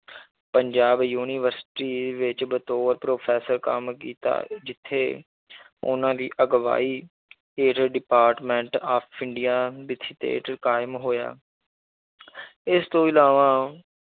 Punjab university ਵਿੱਚ ਬਤੌਰ professor ਕੰਮ ਕੀਤਾ ਜਿੱਥੇ ਉਹਨਾਂ ਦੀ ਅਗਵਾਈ ਹੇਠ department of ਇੰਡੀਆ ਵਿੱਚ ਕਾਇਮ ਹੋਇਆ ਇਸ ਤੋਂ ਇਲਾਵਾ